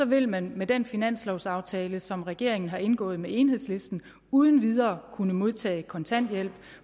vil man med den finanslovaftale som regeringen har indgået med enhedslisten uden videre kunne modtage kontanthjælp